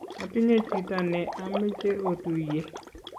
atinye chito ne ameche otuye